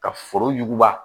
Ka foro yuguba